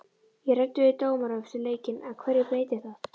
Ég ræddi við dómarann eftir leikinn, en hverju breytir það?